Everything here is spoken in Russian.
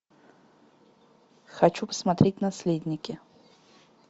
хочу посмотреть наследники